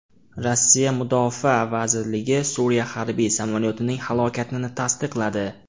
Rossiya mudofaa vazirligi Suriya harbiy samolyotining halokatini tasdiqladi.